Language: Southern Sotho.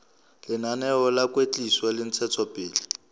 lenaneo la kwetliso le ntshetsopele